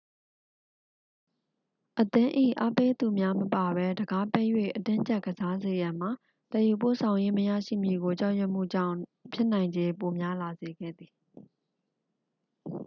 အသင်း၏ အားပေးသူများမပါဘဲ တံခါးပိတ်၍ အတင်းကြပ်ကစားစေရန်မှာ သယ်ယူပို့ဆောင်ရေး မရရှိမည်ကို ကြောက်ရွံ့မှုကြောင့် ဖြစ်နိုင်ချေပိုများလာစေခဲ့သည်